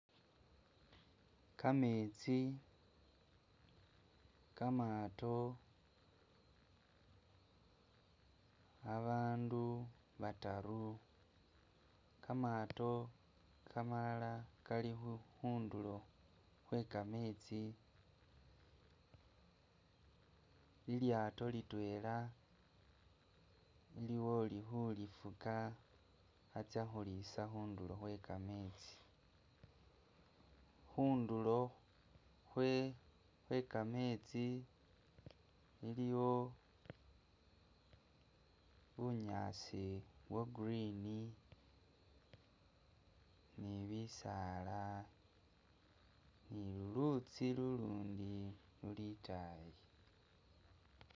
Kametsi kamato abandu bataru kamato kamalala kali khundulo kwekametsi lilyato litwela iliwo uli khulifuka atsakhulisa khundulo khwekametsi khundulo khwe khwekametsi iliwo bunyaasi bwa green ni bisala nilulutsi lulundi luli itayi